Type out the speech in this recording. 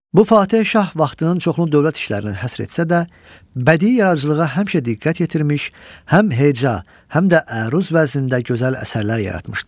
Bu Fateh şah vaxtının çoxunu dövlət işlərinə həsr etsə də, bədii yaradıcılığa həmişə diqqət yetirmiş, həm heca, həm də əruz vəznində gözəl əsərlər yaratmışdır.